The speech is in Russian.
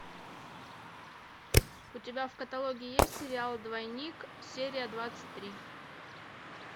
у тебя в каталоге есть сериал двойник серия двадцать три